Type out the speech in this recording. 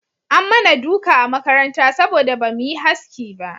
An mana duka a makaranta saboda ba mu yi haski ba